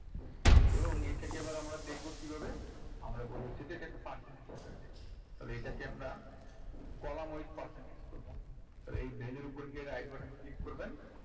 এবং এটাকে এবার আমরা দেখবো কিভাবে আমরা বলেছি যে percentage আকারে দেখাতে তাহলে এটাকে আমরা column wise percentage করবো তো এই value র ওপর গিয়ে right button click করবেন